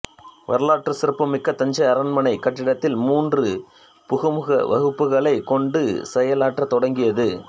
வரலாற்றுச் சிறப்பு மிக்க தஞ்சை அரண்மனைக் கட்டிடத்தில் மூன்று புகுமுக வகுப்புகளைக் கொண்டு செயலாற்றத் தொடங்கியது